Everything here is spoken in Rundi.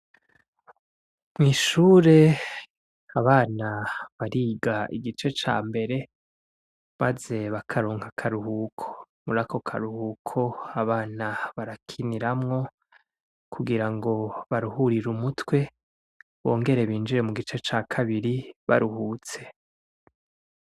Mw'ishure abana bariga igice ca mbere, maze bakaronka akaruhuko murako karuhuko abana barakiniramwo kugira ngo baruhurire umutwe bongere binjire mu gice ca kabiri baruhutse.